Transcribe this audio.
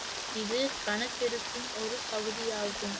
இது கணக்கெடுப்பின் ஒரு பகுதியாகும்